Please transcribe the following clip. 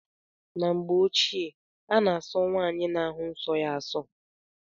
N'mgbe ochie ana aso nwaanyị na-ahu nsó ya aso.